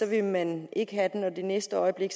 vil man ikke have den og det næste øjeblik